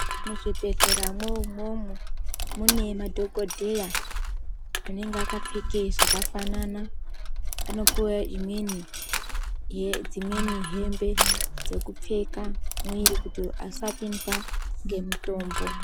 Muzvibhedhleramwo imwomwo, mune madhokodheya anenge akapfeke zvakafanana. Anopuwa imweni yedzimweni hembe dzekupfeka mwiri kuti asapindwa ngemutombo.